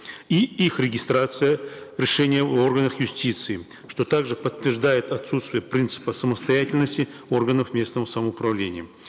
и их регистрация решения в органах юстиции что также подтверждает отсутствие принципа самостоятельности органов местного самоуправления